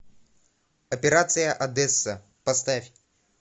операция одесса поставь